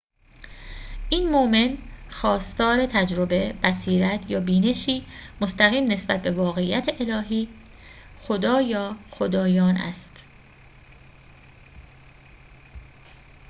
این مؤمن خواستار تجربه، بصیرت یا بینشی مستقیم نسبت به واقعیت الهی/خدا یا خدایان است